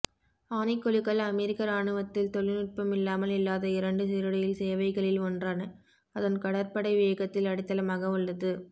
ஆணைக்குழுக்கள் அமெரிக்க இராணுவத்தில் தொழில்நுட்பமில்லாமல் இல்லாத இரண்டு சீருடையில் சேவைகளில் ஒன்றான அதன் கடற்படை வேகத்தில் அடித்தளமாக உள்ளது